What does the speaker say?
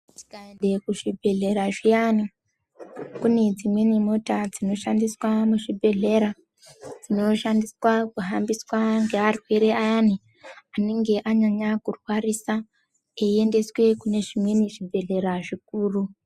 Tikaende ku zvibhedhlera zviyani kune dzimweni mota dzino shandiswa mu zvibhedhlera dzinoshandiswa kuhambiswa nge arwere ayani anenge anyanya kurwarisa eyiendeswa kune zvimweni zvibhedhlera zvikuru.